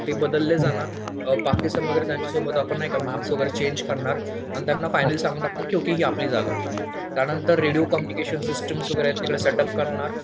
ते बदलले जाणार पाकिस्तान वगैरे नाही का त्यांच्या सोबत आपण मॅप्स वगैरे चेंज करणार. आणि त्यांना फायनल सांगून टाकणार की ही आपली जागा आहे. त्यांनतर रेडिओ कम्युनिकेशन सिस्टम तिकडे सेटअप करणार.